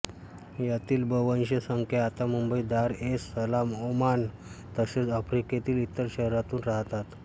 यातील बव्हंश संख्या आता Mumbai Dar es Salaam Oman तसेच आफ्रिकेतील इतर शहरांतून राहतात